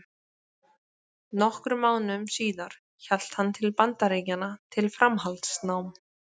Nokkrum mánuðum síðar hélt hann til Bandaríkjanna til framhaldsnáms.